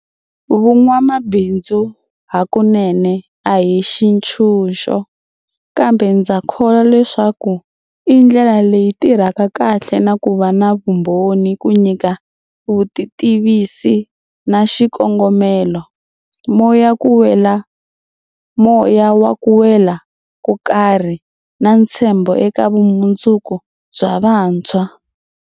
Vun'wamabindzu hakunene a hi xitshunxo, kambe ndza kholwa leswaku i ndlela leyi tirhaka kahle na ku va na vumbhoni ku nyika vutitivisi na xikongomelo, moya wa ku wela ko karhi, na ntshembo eka vumundzuku bya vantshwa.